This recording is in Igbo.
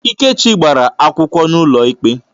Ikechi gbara akwụkwọ n'ụlọikpe.